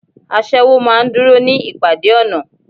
Aṣẹ́wó maá ń dúró ní ìpàdé ọ̀nà